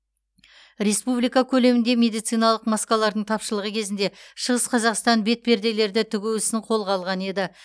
республика көлемінде медициналық маскалардың тапшылығы кезінде шығыс қазақстан бетперделерді тігу ісін қолға алған еді